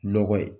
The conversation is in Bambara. Lɔgɔ ye